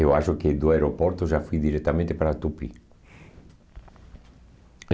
Eu acho que do aeroporto já fui diretamente para Tupi.